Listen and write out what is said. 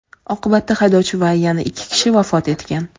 Oqibatda haydovchi va yana ikki kishi vafot etgan.